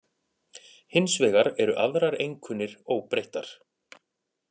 Hins vegar eru aðrar einkunnir óbreyttar